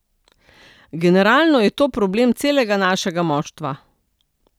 Generalno je to problem celega našega moštva.